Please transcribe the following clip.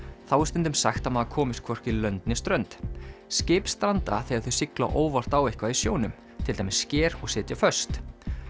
þá er stundum sagt að maður komist hvorki lönd né strönd skip stranda þegar þau sigla óvart á eitthvað í sjónum til dæmis sker og sitja föst